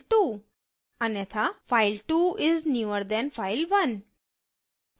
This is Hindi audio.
अन्यथा file2 is newer than file1